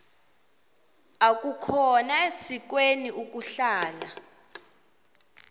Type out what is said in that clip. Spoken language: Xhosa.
akukhona sikweni ukuhlala